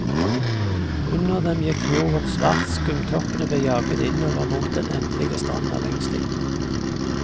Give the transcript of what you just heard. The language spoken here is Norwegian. Under dem gikk fjorden svart, skumtoppene ble jaget innover mot den endelige stranda lengst inne.